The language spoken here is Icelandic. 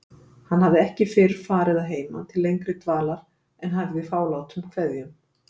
Hann hafði ekki fyrr farið að heiman til lengri dvalar en hæfði fálátum kveðjum.